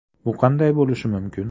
Bu qanday bo‘lishi mumkin?